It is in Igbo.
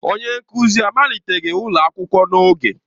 Onye nkuzi amaliteghi ụlọ akwụkwọ n'oge.